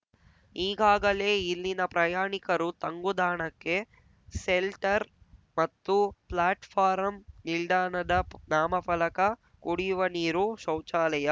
ಈಗಾಗಲೇ ಇಲ್ಲಿನ ಪ್ರಯಾಣಿಕರು ತಂಗುದಾಣಕ್ಕೆ ಸೆಲ್ಟರ್‌ ಮತ್ತು ಪ್ಲಾಟ್‌ಪಾರಂ ನಿಲ್ದಾಣದ ನಾಮಫಲಕ ಕುಡಿಯುವ ನೀರು ಶೌಚಾಲಯ